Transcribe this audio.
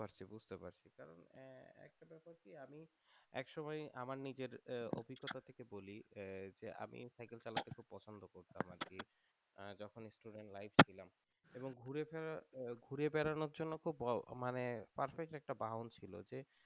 এক সময় আমার নিজের অভিজ্ঞতা থেকে বলি আমি সাইকেল চালানো টাকে খুবই পছন্দ করতাম আর কি যখন স্টুডেন্ট লাইফে ছিলাম ঘুরে ফেরা ঘুরে বেড়ানোর জন্য খুব বড় মানে পারফেক্ট একটা বাহন ছিল